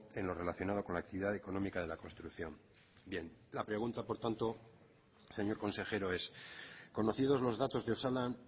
en lo relacionado con la actividad económica de la construcción bien la pregunta por tanto señor consejero es conocidos los datos de osalan